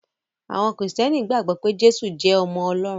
Àwọn Kristiani gbàgbó pé Jésù jé ọmọ Olórun.